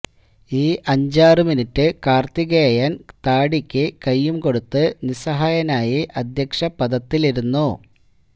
ഈ അഞ്ചാറ് മിനിട്ട് കാര്ത്തികേയന് താടിക്ക് കൈയും കൊടുത്ത് നിസ്സഹായനായി അധ്യക്ഷപദത്തിലിരുന്നു